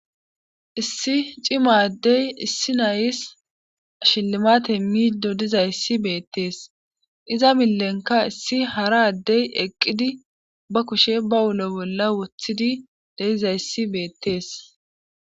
issi cimaddey issi nayis shillimate miido dizayssi beettees iza millenka issi hara addey eqqidi ba kushe ba ulo bolla wothidi de7izayssi beettees